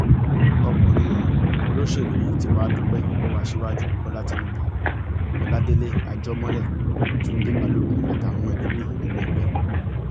ọkùnrin olóṣèlú yìí tí wàá dúpẹ lọwọ aṣíwájú bọlá tìnùbù ọládélé àjọmọlẹ túnde balógun àtàwọn ẹlòmíín nínú ẹgbẹ